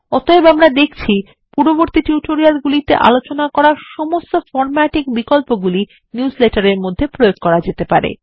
অতএব আমরা দেখছি পূর্ববর্তী টিউটোরিয়াল এ আলোচনা করা সমস্ত ফর্ম্যাটিং বিকল্পগুলি নিউজলেটার এর মধ্যে প্রয়োগ করা যেতে পারে